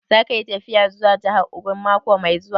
Za ka yi tafiya zuwa jahar Ogun mako mai zuwa?